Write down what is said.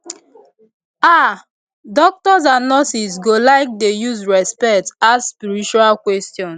ah doctors and nurses go like dey use respect ask spiritual questions